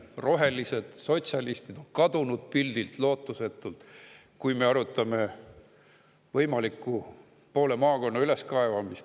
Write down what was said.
Rohelised ja sotsialistid on pildilt lootusetult kadunud, kui me arutame poole maakonna võimalikku üleskaevamist.